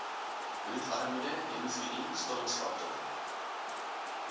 bloedarmoede hemofilie stollingsfaktor